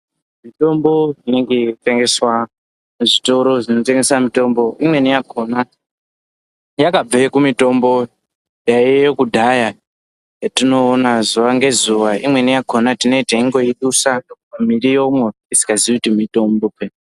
Mitombo inenge yeitengeswa muzvitoro zvinotengese mitombo, imweni yakona yakabve kumitombo yaiyeyo kudhaya yatinoona zuva ngezuva. Imweni yakona tinee teindidusa mumiriwomo tisingazii kuti mitombo.